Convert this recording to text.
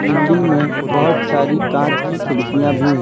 Building में बहोत सारी कांच की खिड़कियां भी हैं।